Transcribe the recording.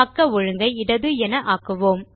பக்க ஒழுங்கை இடது என ஆக்குவோம்